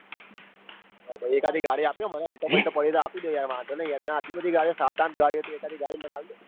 એકાદી ગાડી આપીદો મને alto બળતો પડી હોય તો આપી ડો યાર વાંધો નઈ યાર તમે આટલી બધી ગાડીઓ સાત આઠ ગાડીઓ હતી એકાદી ગાડી મન આલદો.